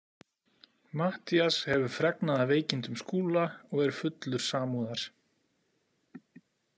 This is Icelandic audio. Matthías hefur fregnað af veikindum Skúla og er fullur samúðar.